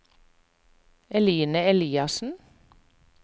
Eline Eliassen